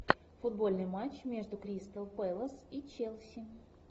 футбольный матч между кристал пэлас и челси